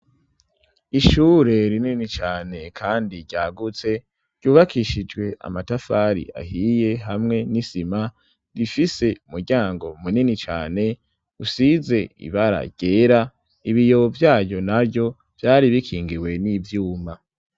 Ishure rinini cane kandi ryagutse ,ryubakishijwe amatafari ahiye ,hamwe n'isima rifise muryango munini cane ,usize ibara ryera ,ibiyo vyayo na vyo vyari bikingiwe n'ivyuma.